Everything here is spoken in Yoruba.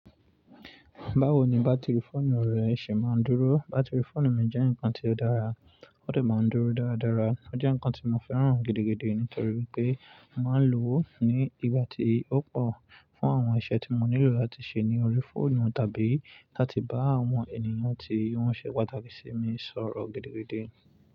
Báwo ni bátìrì fóònù rẹ ṣe máa ń dúró? Bátìrì fóònù mi jẹ́ ǹkan tó dára, ó sì máa ń dúró dáradára. Ó jẹ́ ǹkan tí mo fẹ́ràn gidigidi nítorí pé mo máa ń lò ó ní ìgbà tí ó pọ̀ fún àwọn iṣẹ́ tí mo nílò láti ṣe ní orí fóònù tàbí láti bá àwọn ènìyàn tí wọ́n ṣe pàtàkì sí mi sọ̀rọ̀ gidigidi.